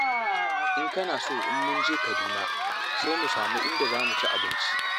In kana so in mun je Kaduna sai mu samu inda za mu ci abinci.